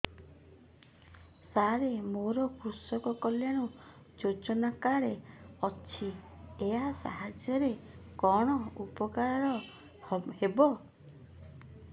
ସାର ମୋର କୃଷକ କଲ୍ୟାଣ ଯୋଜନା କାର୍ଡ ଅଛି ୟା ସାହାଯ୍ୟ ରେ କଣ ଉପକାର ହେବ